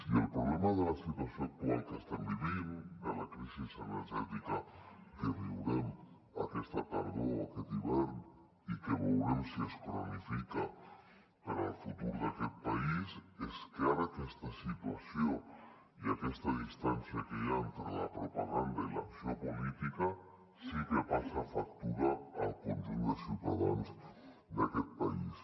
i el problema de la situació actual que estem vivint de la crisi energètica que viurem aquesta tardor o aquest hivern i que veurem si es cronifica per al futur d’aquest país és que ara aquesta situació i aquesta distància que hi ha entre la propaganda i l’acció política sí que passa factura al conjunt de ciutadans d’aquest país